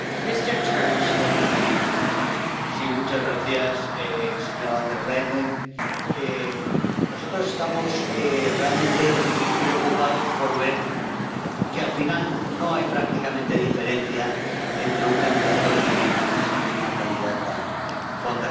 Señora presidenta, señora von der Leyen, nosotros estamos realmente preocupados por ver que, al final, no hay prácticamente diferencia entre un candidato Timmermans y una candidata von der Leyen.